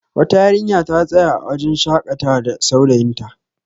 wata yarinya ta tsaya a wajen shakatda saurayinta